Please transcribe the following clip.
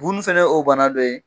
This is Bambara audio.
Bu nun fɛnɛ ye o bana de ye